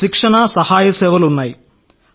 మాకు శిక్షణ సహాయ సేవలు ఉన్నాయి